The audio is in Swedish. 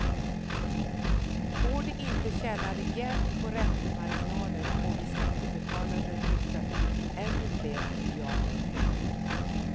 Får de inte tjäna rejält på räntemarginaler får vi skattebetalare rycka ut med ännu fler miljarder.